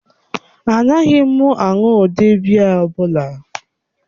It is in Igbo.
Anaghị m aṅụ ụdị biya ọ bụla.